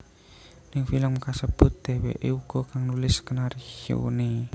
Ning film kasebut dheweké uga kang nulis skenarioné